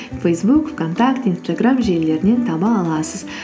фейсбук вконтакте инстаграм желілерінен таба аласыз